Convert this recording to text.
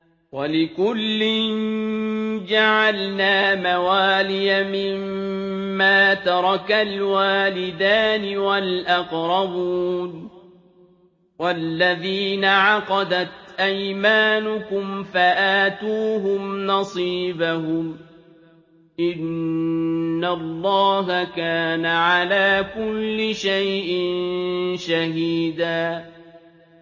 وَلِكُلٍّ جَعَلْنَا مَوَالِيَ مِمَّا تَرَكَ الْوَالِدَانِ وَالْأَقْرَبُونَ ۚ وَالَّذِينَ عَقَدَتْ أَيْمَانُكُمْ فَآتُوهُمْ نَصِيبَهُمْ ۚ إِنَّ اللَّهَ كَانَ عَلَىٰ كُلِّ شَيْءٍ شَهِيدًا